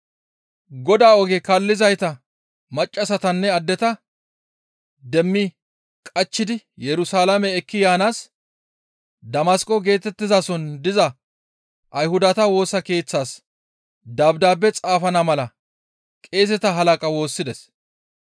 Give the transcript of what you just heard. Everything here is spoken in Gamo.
Godaa oge kaallizayta maccassatanne addeta demmi qachchidi Yerusalaame ekki yaanaas Damasqo geetettizason diza Ayhudata Woosa Keeththas dabdaabe xaafana mala qeeseta halaqaa woossides.